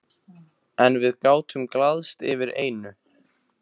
En við gátum glaðst yfir einu.